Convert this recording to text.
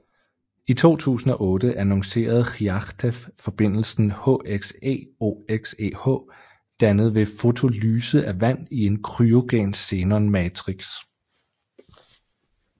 I 2008 annoncerede Khriachtchev forbindelsen HXeOXeH dannet ved fotolyse af vand i en kryogen xenon matrix